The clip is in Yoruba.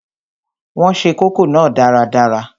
Wọn se kókò náà dáradára